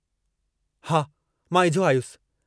हा मां इझो आयुसि।